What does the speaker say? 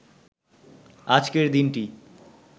আজকের দিনটি